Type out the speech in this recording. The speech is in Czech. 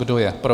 Kdo je pro?